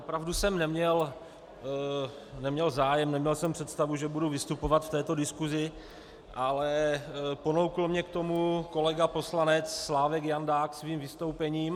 Opravdu jsem neměl zájem, neměl jsem představu, že budu vystupovat v této diskusi, ale ponoukl mě k tomu kolega poslanec Slávek Jandák svým vystoupením.